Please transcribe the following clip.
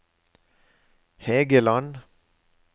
Hægeland